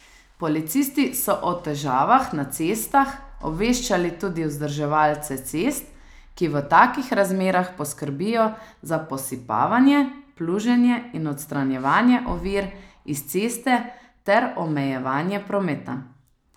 Policisti so o težavah na cestah obveščali tudi vzdrževalce cest, ki v takih razmerah poskrbijo za posipavanje, pluženje in odstranjevanje ovir iz ceste ter omejevanje prometa.